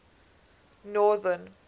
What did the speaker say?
northern